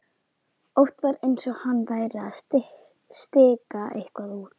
Oft var eins og hann væri að stika eitthvað út.